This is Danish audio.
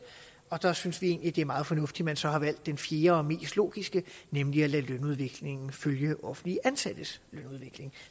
og der synes vi egentlig det er meget fornuftigt man så har valgt den fjerde og mest logiske nemlig at lade lønudviklingen følge offentlige ansattes lønudvikling